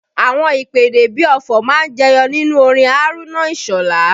Àwọn ìpèdè bí ọfọ̀ má ń jẹyọ nínú orin Haruna Isola